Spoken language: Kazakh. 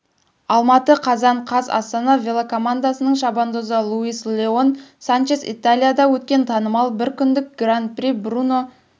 алматы қазан қаз астана велокомандасының шабандозы луис леон санчес италияда өткен танымал бір күндік гран-при бруно